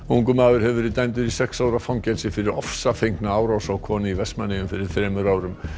ungur maður hefur verið dæmdur í sex ára fangelsi fyrir ofsafengna árás á konu í Vestmannaeyjum fyrir þremur árum